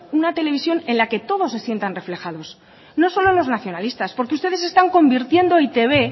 una televisión en la que todos se sientan reflejados no solo los nacionalistas porque ustedes están convirtiendo e i te be